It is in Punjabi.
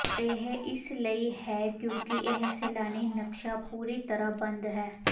ਇਹ ਇਸ ਲਈ ਹੈ ਕਿਉਂਕਿ ਇਹ ਸੈਲਾਨੀ ਨਕਸ਼ਾ ਪੂਰੀ ਤਰ੍ਹਾਂ ਬੰਦ ਹੈ